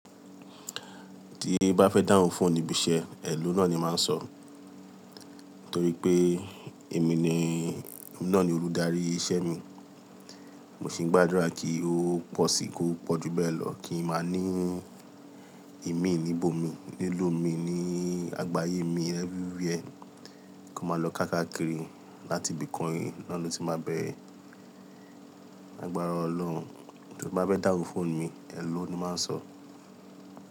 Tí i bá fẹ́ dáhùn fún níbísẹ́, hèllò náà ni máa ń sọ, torí pé èmi ni, náà ni olùdarí isẹ́ mi. Mo sì ń gbàdúrà kí ó pọ̀ sí i kó pọ̀jú bẹ́ẹ̀ lọ kí n máa ní ìmíì níbò mi, lílù mi ní, àgbáyé mi everywhere kó máa lọ ká kákìrí láti ibìkan, náà ni lo tí máa bẹ. Lagbára Ọlọ́run. Tí n bá fẹ́ dáhùn fún mi, hellò ni màá sọ.